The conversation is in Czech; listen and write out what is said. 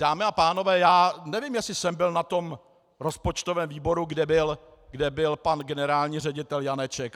Dámy a pánové, já nevím, jestli jsem byl na tom rozpočtovém výboru, kde byl pan generální ředitel Janeček.